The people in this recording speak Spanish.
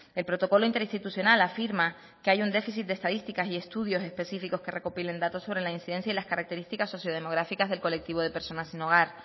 el protocolo interinstitucional afirma que hay un déficit de estadísticas y estudios específicos que recopilen datos sobre la incidencia y las características socio demográficas del colectivo de personas sin hogar